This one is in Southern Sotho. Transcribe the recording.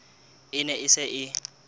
e ne e se e